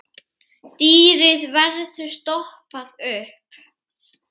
Dýrið verður stoppað upp.